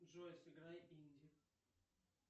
джой сыграй инди